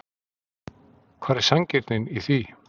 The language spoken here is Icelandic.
Hvar er sanngirnin í því?